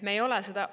Me ei ole seda …